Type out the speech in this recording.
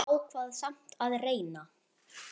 Hún ákvað samt að reyna.